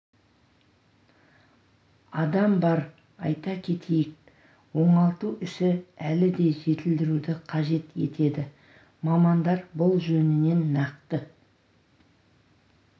адам бар айта кетейік оңалту ісі әлі де жетілдіруді қажет етеді мамандар бұл жөнінен нақты